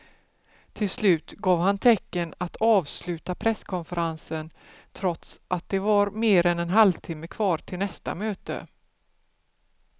Till slut gav han tecken att avsluta presskonferensen trots att det var mer än en halvtimme kvar till nästa möte.